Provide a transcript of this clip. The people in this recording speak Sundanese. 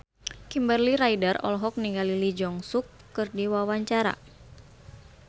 Kimberly Ryder olohok ningali Lee Jeong Suk keur diwawancara